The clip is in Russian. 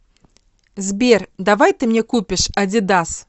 сбер давай ты мне купишь адидас